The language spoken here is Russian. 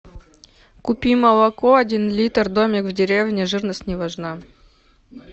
купи молоко один литр домик в деревне жирность не важна